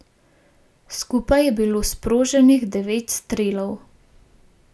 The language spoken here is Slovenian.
Skupaj je bilo sproženih devet strelov.